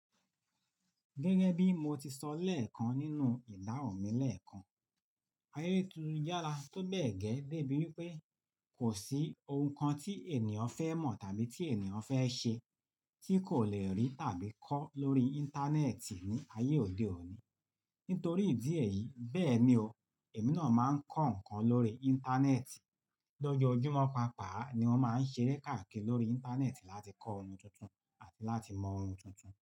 Gẹ́gẹ́ bí mo ti sọ lẹ́ẹ̀kan nínú ìdáhùn mi lẹ́ẹ̀kan, ayé tún yára tóbẹ́ẹ̀ gẹ́, dé bí wípé kò sí ohun kan tí ènìyàn fẹ́ mọ̀ tàbí tí ènìyàn fẹ́ ṣe tí kò lè rí tàbí kọ́ lórí Íńtánẹ́ẹ̀tì ní ayé òde òní. Nítorí ìdí èyí, bẹ́ẹ̀ ni o, èmi náà máa ń kọ́ nǹkan lórí Íńtánẹ́ẹ̀tì. Lọ́jọ́júmọ́ pàápàá ni mo máa ń ṣeré káàkiri lórí Íńtánẹ́ẹ̀tì láti kọ́ ohun tuntun àti láti mọ ohun tuntun.